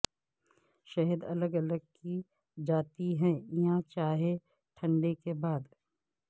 شہد الگ الگ کی جاتی ہے یا چائے ٹھنڈے کے بعد